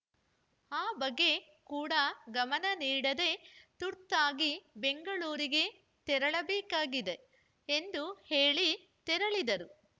ಆ ಬಗ್ಗೆ ಕೂಡ ಗಮನ ನೀಡದೆ ತುರ್ತಾಗಿ ಬೆಂಗಳೂರಿಗೆ ತೆರಳಬೇಕಾಗಿದೆ ಎಂದು ಹೇಳಿ ತೆರಳಿದರು